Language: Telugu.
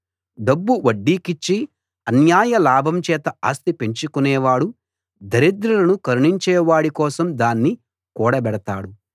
డబ్బు వడ్డీకిచ్చి అన్యాయ లాభం చేత ఆస్తి పెంచుకునేవాడు దరిద్రులను కరుణించేవాడి కోసం దాన్ని కూడబెడతాడు